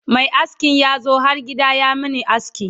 Mai askin yazo har gida ya Mani aski